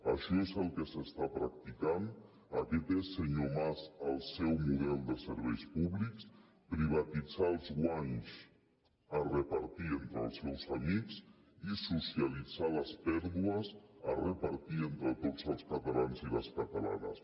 això és el que s’està practicant aquest és senyor mas el seu model de serveis públics privatitzar els guanys a repartir entre els seus amics i socialitzar les pèrdues a repartir entre tots els catalans i les catalanes